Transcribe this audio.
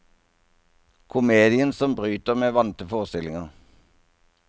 Komedien som bryter med vante forestillinger.